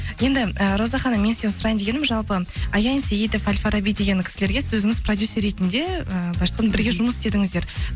енді роза ханым мен сізден сұрайын дегенім жалпы аян сейітов ал фараби деген кісілерге сіз өзіңіз продюссер ретінде былайша айтқанда бірге жұмыс істедіңіздер